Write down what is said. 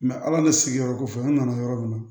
ala ni sigiyɔrɔ kɔfɛ an nana yɔrɔ min na